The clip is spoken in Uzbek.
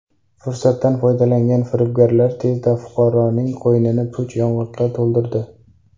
Fursatdan foydalangan firibgarlar tezda fuqaroning qo‘ynini puch yong‘oqqa to‘ldirdi.